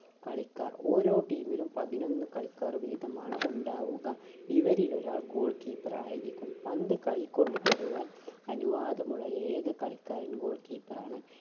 കളിക്കാർ ഒരോ team ലും പതിനൊന്ന് കളിക്കാർ വീതമാണ് ഉണ്ടാവുക ഇവരിൽ ഒരാൾ goal keeper ആയിരിക്കും പന്ത് കൈ കൊണ്ട് തൊടുവാൻ അനുവാദം ഉള്ള ഏക കളിക്കാരൻ goal keeper ആണ്